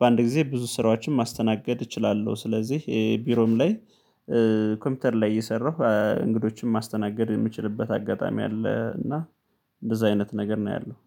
በአንድ ጊዜ ብዙ ስራዎችን ማስተናገድ እችላለሁ። ስለዚህ ቢሮም ላይ ኮምፒውተር ላይ እየሰራሁ እንግዶችን ማስተናገድ የምችልበት አጋጣሚ አለ፤ እና እንደዛ አይነት ነገር ነው ያለው።